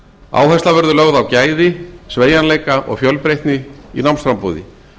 áhersla verður lögð á gæði sveigjanleika og fjölbreytni í námsframboði